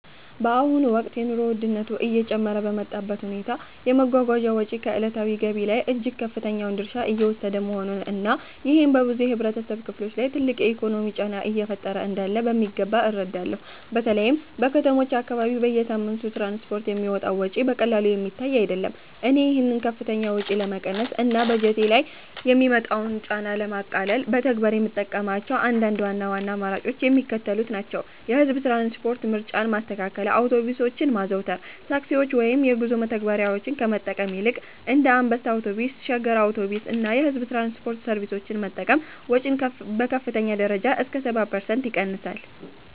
በአሁኑ ወቅት የኑሮ ውድነቱ እየጨመረ በመጣበት ሁኔታ፣ የመጓጓዣ ወጪ ከዕለታዊ ገቢ ላይ እጅግ ከፍተኛውን ድርሻ እየወሰደ መሆኑን እና ይሄም በብዙ የህብረተሰብ ክፍሎች ላይ ትልቅ የኢኮኖሚ ጫና እየፈጠረ እንዳለ በሚገባ እረዳለሁ። በተለይም በከተሞች አካባቢ በየሳምንቱ ለትራንስፖርት የሚወጣው ወጪ በቀላሉ የሚታይ አይደለም። እኔ ይህንን ከፍተኛ ወጪ ለመቀነስ እና በበጀቴ ላይ የሚመጣውን ጫና ለማቃለል በተግባር የምጠቀምባቸው አንዳንድ ዋና ዋና አማራጮች የሚከተሉት ናቸው፦ የህዝብ ትራንስፖርት ምርጫን ማስተካከል አውቶቡሶችን ማዘውተር፦ ታክሲዎችን ወይም የጉዞ መተግበሪያዎችን ከመጠቀም ይልቅ እንደ አንበሳ አውቶቡስ፣ ሸገር አውቶቡስ እና የሕዝብ ትራንስፖርት ሰርቪሶችን መጠቀም ወጪን በከፍተኛ ደረጃ እስከ 70% ይቀንሳል።